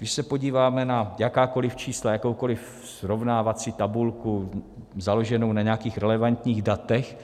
Když se podíváme na jakákoliv čísla, jakoukoliv srovnávací tabulku založenou na nějakých relevantních datech,